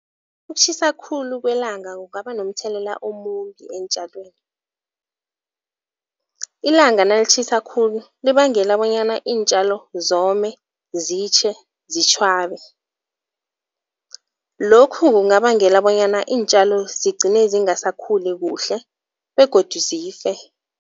Ukutjhisa khulu kwelanga kungaba nomthelela omumbi eentjalweni. Ilanga nalitjhisa khulu libangela bonyana iintjalo zome, zitjhe, zitjhwabe. Lokhu kungabangela bonyana iintjalo zigcine zingasakhuli kuhle begodu zife.